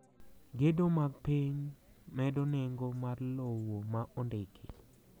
Gedo mag piny medo nengo mar lowo ma ondiki